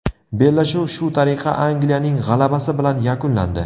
Bellashuv shu tariqa Angliyaning g‘alabasi bilan yakunlandi.